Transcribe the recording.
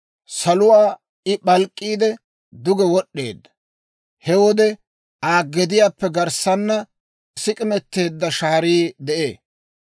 Saluwaa I p'alk'k'iide, duge wod'd'eedda; he wode Aa gediyaappe garssaana sik'imeteedda shaarii de'ee.